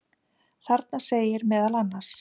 Þarna segir meðal annars: